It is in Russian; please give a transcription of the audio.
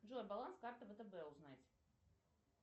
джой баланс карты втб узнать